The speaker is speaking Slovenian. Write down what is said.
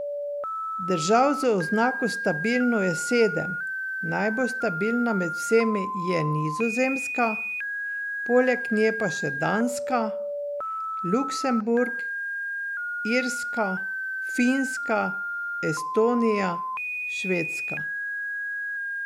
Držav z oznako stabilno je sedem, najbolj stabilna med vsemi je Nizozemska, poleg nje pa še Danska, Luksemburg, Irska, Finska, Estonija, Švedska.